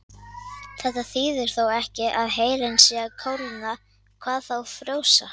Þetta þýðir þó ekki að heilinn sé að kólna, hvað þá frjósa.